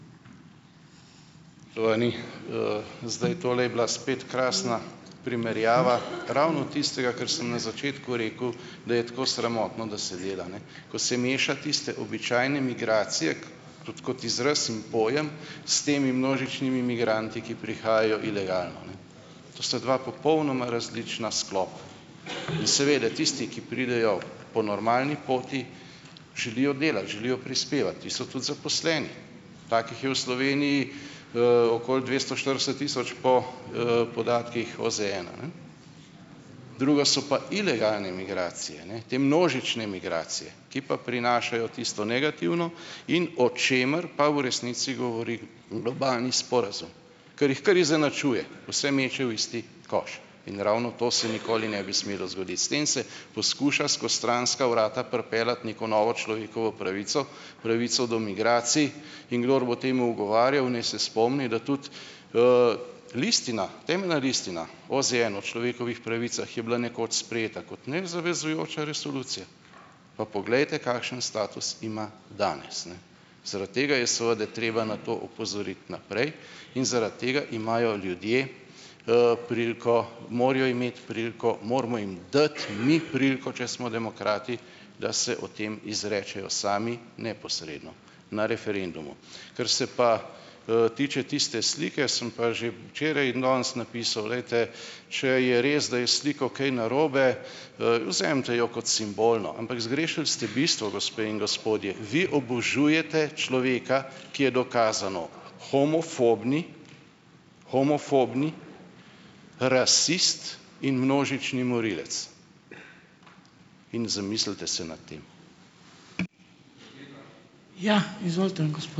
zdaj, tole je bila spet krasna primerjava ravno tistega, kar sem na začetku rekel, da je tako sramotno, da se dela, ne, ko se meša tiste običajne migracije tudi kot izraz in pojem, s temi množičnimi migranti, ki prihajajo ilegalno, ne. To sta dva popolnoma različna sklopa. Seveda tisti, ki pridejo po normalni poti, želijo delati, želijo prispevati in so tudi zaposleni. Takih je v Sloveniji, okoli dvesto štirideset tisoč po, podatkih OZN-a, ne. Drugo so pa ilegalne migracije, ne. Te množične migracije, ki pa prinašajo tisto negativno, in o čemer pa v resnici govori globalni sporazum, ker jih kar izenačuje, vse meče v isti koš. In ravno to se nikoli ne bi smelo zgoditi. S tem se poskuša skozi stranska vrata pripeljati neko novo človekovo pravico, pravico do migracij, in kdor bo temu ugovarjal, naj se spomni, da tudi, listina, Temeljna listina OZN o človekovih pravicah je bila nekoč sprejeta kot nezavezujoča resolucija, pa poglejte kakšen status ima danes, ne. Zaradi tega je seveda treba na to opozoriti naprej in zaradi tega imajo ljudje, priliko, morajo imeti priliko, moramo jim dati mi priliko, če smo demokrati, da se o tem izrečejo sami neposredno na referendumu. Kar se pa, tiče tiste slike, sem pa že včeraj in danes napisali, glejte, če je res, da je s sliko kaj narobe, vzemite jo kot simbolno. Ampak zgrešili ste bistvo, gospe in gospodje . Vi obožujete človeka, ki je dokazano homofobni, homofobni rasist in množični morilec. In zamislite se nad tem. Ja, izvolite ...